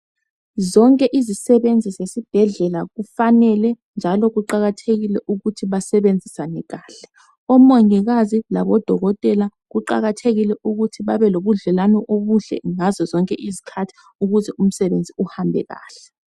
Zonke izisebenzi zasesibhedlela kufane njalo kuqakathekile ukuthi basebenzisane kahle. Omongikazi labodokotela kuqakathekile ukuthi babe lobudlelwano obuhle ngazo zonke izikhathi ukuze umsebenzi uhambe kahle.